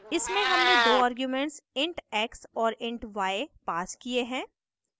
इनमें हमने दो आर्ग्यूमेंट्स int x और int y passed किये हैं